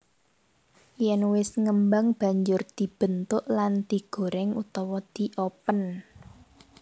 Yèn wis ngembang banjur dibentuk lan digoreng utawa diopen